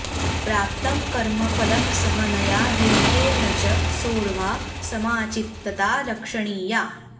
प्राप्तं कर्मफलं सहनया धैर्येण च सोढ्वा समचित्तता रक्षणीया